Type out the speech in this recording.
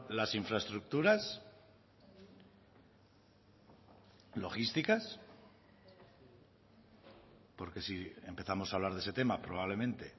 las infraestructuras logísticas porque si empezamos a hablar de ese tema probablemente